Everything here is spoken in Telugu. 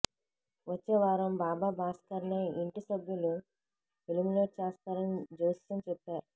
వచ్చే వారం బాబా భాస్కర్నే ఇంటి సభ్యులు ఎలిమినేట్ చేస్తారని జోస్యం చెప్పారు